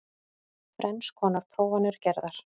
Þrenns konar prófanir gerðar